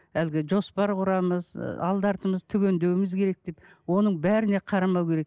әлгі жоспар құрамыз ы алды артымызды түгендеуіміз керек деп оның бәріне қарамау керек